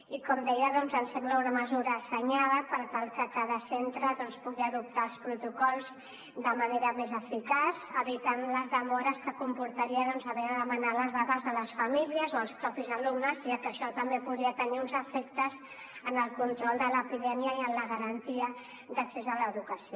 i com deia doncs ens sembla una mesura assenyada per tal que cada centre pugui adoptar els protocols de manera més eficaç evitant les demores que comportaria haver de demanar les dades de les famílies o als propis alumnes ja que això també podria tenir uns efectes en el control de l’epidèmia i en la garantia d’accés a l’educació